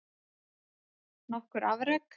Nokkur afrek